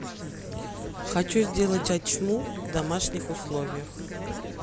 хочу сделать ачму в домашних условиях